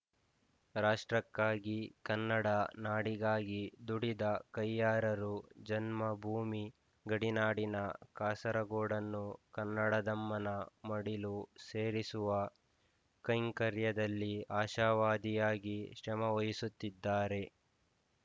ರಾಷ್ಟ್ರಕ್ಕಾಗಿ ಕನ್ನಡ ನಾಡಿಗಾಗಿ ದುಡಿದ ಕಯ್ಯಾರರು ಜನ್ಮ ಭೂಮಿ ಗಡಿನಾಡಿನ ಕಾಸರಗೋಡನ್ನು ಕನ್ನಡದಮ್ಮನ ಮಡಿಲು ಸೇರಿಸುವ ಕೈಂಕರ್ಯದಲ್ಲಿ ಆಶಾವಾದಿಯಾಗಿ ಶ್ರಮವಹಿಸುತ್ತಿದ್ದಾರೆ